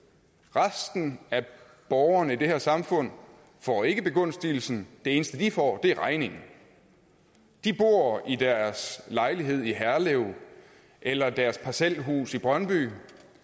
resten af borgerne i det her samfund får ikke begunstigelsen det eneste de får er regningen de bor i deres lejlighed i herlev eller deres parcelhus i brøndby